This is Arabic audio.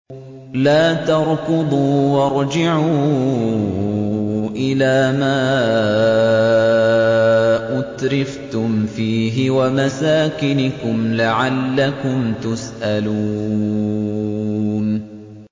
لَا تَرْكُضُوا وَارْجِعُوا إِلَىٰ مَا أُتْرِفْتُمْ فِيهِ وَمَسَاكِنِكُمْ لَعَلَّكُمْ تُسْأَلُونَ